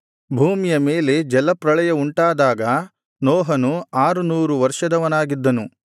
ಭೂಮಿಯ ಮೇಲೆ ಜಲಪ್ರಳಯವುಂಟಾದಾಗ ನೋಹನು ಆರುನೂರು ವರ್ಷದವನಾಗಿದ್ದನು